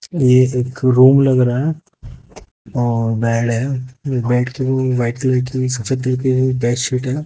ये एक रूम लग रहा है और बेड है बेडशीट है।